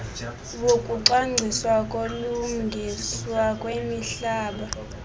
wokucwangciswa kokulungiswa kwemihlaba